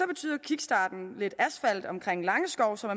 betyder kickstarten lidt asfalt omkring langeskov så